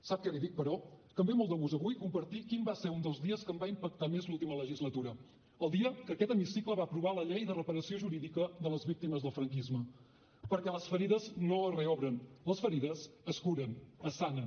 sap què li dic però que em ve molt de gust avui compartir quin va ser un dels dies que em va impactar més l’última legislatura el dia que aquest hemicicle va aprovar la llei de reparació jurídica de les víctimes del franquisme perquè les ferides no es reobren les ferides es curen es sanen